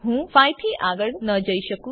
હું 5 થી આગળ ન જઈ શકું